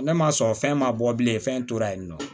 Ne ma sɔn fɛn ma bɔ bilen fɛn tora yen nɔ